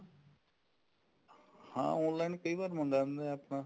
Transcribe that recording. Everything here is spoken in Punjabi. ਹਾਂ online ਕਈ ਵਾਰ ਮੰਗਵਾਉਂਦੇ ਆ ਆਪਾਂ